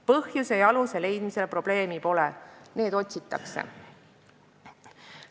Põhjuse ja aluse leidmisega probleemi pole, need otsitakse.